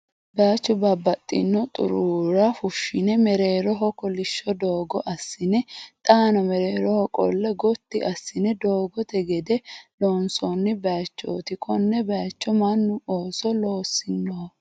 Baayichu babbaxino xuruura fushshine mereeroho kolishsho doogo assine xaano mereeroho qolle gotti assine doogote gede loonsoonni baaychooti. Konne baaycho mannu ooso loossinoho.